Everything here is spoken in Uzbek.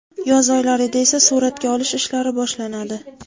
Yoz oylarida esa suratga olish ishlari boshlanadi.